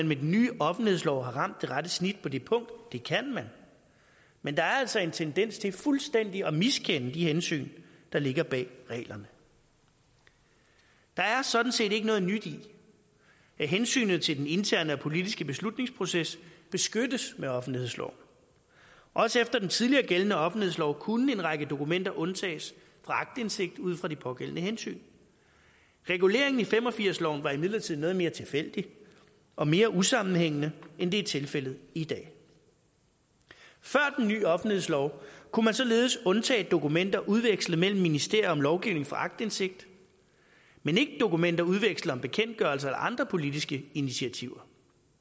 med den nye offentlighedslov har ramt det rette snit på det punkt det kan man men der er altså en tendens til fuldstændig at miskende de hensyn der ligger bag reglerne der er sådan set ikke noget nyt i at hensynet til den interne og politiske beslutningsproces beskyttes med offentlighedsloven også efter den tidligere gældende offentlighedslov kunne en række dokumenter undtages fra aktindsigt ud fra de pågældende hensyn reguleringen i nitten fem og firs loven var imidlertid noget mere tilfældig og mere usammenhængende end det er tilfældet i dag før den nye offentlighedslov kunne man således undtage dokumenter udvekslet mellem ministerier om lovgivning for aktindsigt men ikke dokumenter udvekslet om bekendtgørelser eller andre politiske initiativer